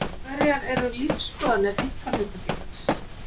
Hverjar eru lífsskoðanir einkahlutafélags?